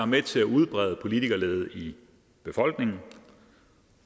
med til at udbrede en politikerlede i befolkningen